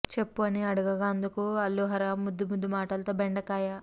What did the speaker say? చెప్పు అని అడగగా అందుకు అల్లు ఆర్హ ముద్దు ముద్దు మాటలతో బెండకాయ